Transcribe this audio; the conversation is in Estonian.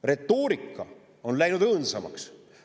Retoorika on läinud õõnsamaks.